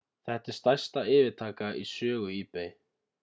þetta er stærsta yfirtaka í sögu ebay